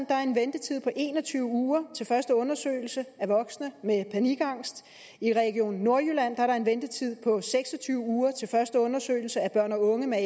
der en ventetid på en og tyve uger til første undersøgelse af voksne med panikangst i region nordjylland er der en ventetid på seks og tyve uger til første undersøgelse af børn og unge med